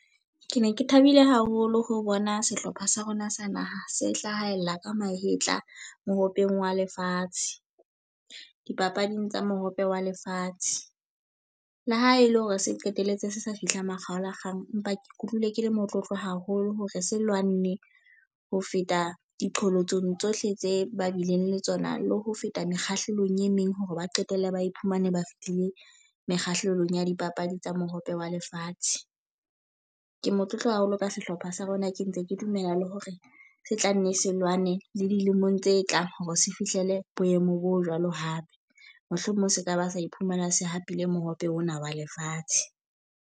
Ke ne ke thabile haholo ho bona sehlopha sa rona sa naha se hlahella ka mahetla Mohopeng wa Lefatshe. Dipapading tsa Mohope wa Lefatshe. Le ha e le hore se qetelletse se sa fihlang makgaolakgang, empa ke ikutlwile ke le motlotlo haholo hore se lwanne ho feta diqholotsong tsohle tse ba bileng le tsona, le ho feta mekgahlelong e meng hore ba qetelle ba iphumane ba fihlile mekgahlelong ya dipapadi tsa Mohope wa Lefatshe. Ke motlotlo haholo ka sehlopha sa rona. Ke ntse ke dumela le hore se tla nne se lwane le dilemong tse tlang hore se fihlele boemo bo jwalo hape. Mohlomong se ka ba sa iphumana se hapile Mohope ona wa Lefatshe.